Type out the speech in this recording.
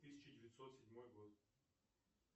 тысяча девятьсот седьмой год